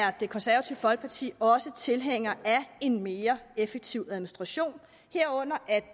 at det konservative folkeparti også er tilhængere af en mere effektiv administration herunder at